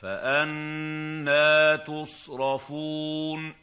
فَأَنَّىٰ تُصْرَفُونَ